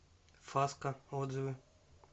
фаска отзывы